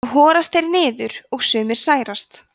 þá horast þeir niður og sumir særast